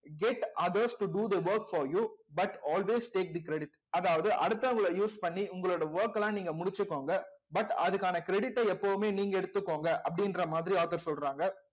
get others to do the works for you but always take the credit அதாவது அடுத்தவங்களை use பண்ணி உங்களோட work எல்லாம் நீங்க முடிச்சுக்கோங்க but அதுக்கான credit ஐ எப்பவுமே நீங்க எடுத்துக்கோங்க அப்படின்ற மாதிரி author சொல்றாங்க